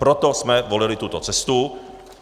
Proto jsme volili tuto cestu.